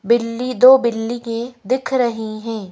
बिल्ली दो बिल्ली की दिख रही हैं।